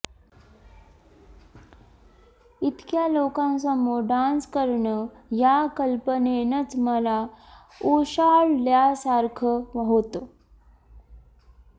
इतक्या लोकांसमोर डान्स करणं या कल्पनेनंच मला ओशाळल्यासारखं होतं